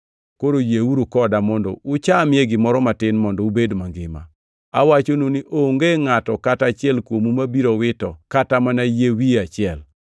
Koro yieuru koda mondo uchamie gimoro matin mondo ubed mangima. Awachonu ni onge ngʼato kata achiel kuomu mabiro wito kata mana yie wiye achiel.”